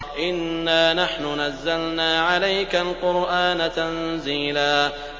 إِنَّا نَحْنُ نَزَّلْنَا عَلَيْكَ الْقُرْآنَ تَنزِيلًا